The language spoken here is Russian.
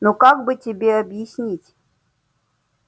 ну как бы тебе объяснить